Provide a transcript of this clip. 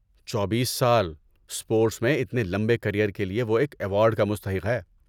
چوبیس سال۔۔ اسپورٹس میں اتنے لمبے کریئر کے لیے وہ ایک ایوارڈ کا مستحق ہے۔